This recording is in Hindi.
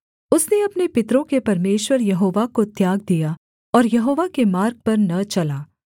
उसने अपने पितरों के परमेश्वर यहोवा को त्याग दिया और यहोवा के मार्ग पर न चला